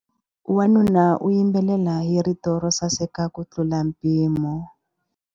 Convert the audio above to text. Wanuna u yimbelela hi rito ro saseka kutlula mpimo.